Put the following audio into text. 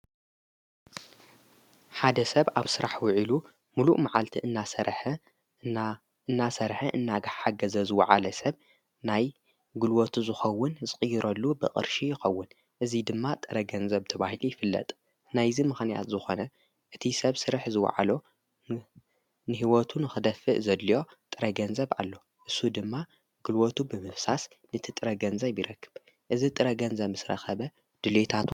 ሓደ ሰብ ኣብ ሥራሕ ውዒሉ ምሉእ መዓልቲ እናሠእናሠርሐ እናጋሕ ሓገ ዘ ዝወዓለ ሰብ ናይ ግልወቱ ዙኸውን ዘቕይረሉ ብቕርሺ ይኸውን እዙይ ድማ ጥረገንዘብ ተባሂሉ ኣይፍለጥ ናይዝ ምኽንያት ዝኾነ እቲ ሰብ ሥርሕ ዝወዓሎ ንሕይወቱ ንኽደፍእ ዘልዮ ጥረገንዘብ ኣሎ እሱ ድማ ግልወቱ ብምፍሳስ ንቲ ጥረገንዘ ብረክብ እዝ ጥረገንዘ ምስ ረ ኸበ ድልየታ ሎ።